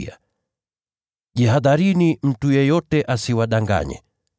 Yesu akawaambia: “Jihadharini mtu yeyote asiwadanganye.